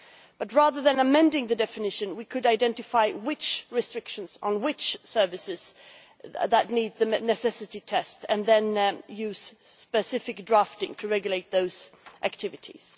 But rather than amending the definition, we could identify which restrictions on which services need the necessity test and then use of specific drafting to regulate those activities.